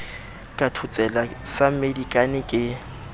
ka thotsela sa mmedikane ke